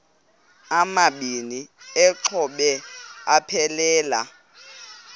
amabini exhobe aphelela